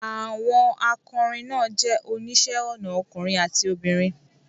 Àwọn akọrin náà jẹ́ oníṣẹ́ ọnà ọkùnrin àti obìnrin